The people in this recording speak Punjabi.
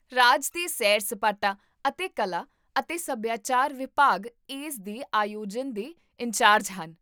ਰਾਜ ਦੇ ਸੈਰ ਸਪਾਟਾ ਅਤੇ ਕਲਾ ਅਤੇ ਸਭਿਆਚਾਰ ਵਿਭਾਗ ਇਸ ਦੇ ਆਯੋਜਨ ਦੇ ਇੰਚਾਰਜ ਹਨ